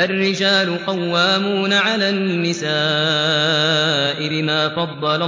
الرِّجَالُ قَوَّامُونَ عَلَى النِّسَاءِ بِمَا فَضَّلَ